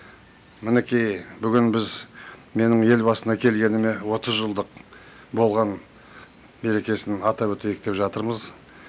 мінекей бүгін біз менің ел басына келгеніме отыз жылдық болған мерекесін атап өтейік деп жатырмыз